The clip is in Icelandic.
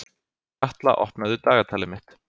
Katla, opnaðu dagatalið mitt.